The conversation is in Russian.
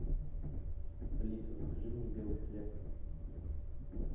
алиса закажи мне белый хлеб